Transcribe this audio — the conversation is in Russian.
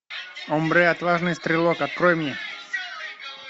омбре отважный стрелок открой мне